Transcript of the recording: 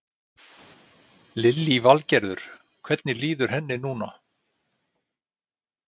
Lillý Valgerður: Hvernig líður henni núna?